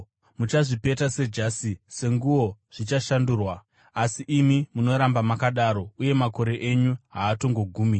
Muchazvipeta sejasi; senguo zvichashandurwa. Asi imi munoramba makadaro, uye makore enyu haatozogumi.”